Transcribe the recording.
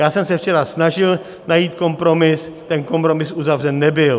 Já jsem se včera snažil najít kompromis, ten kompromis uzavřen nebyl.